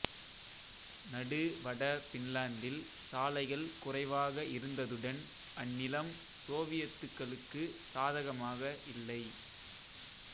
நடு வட பின்லாந்தில் சாலைகள் குறைவாக இருந்ததுடன் அந்நிலம் சோவியத்துகளுக்கு சாதகமாக இல்லை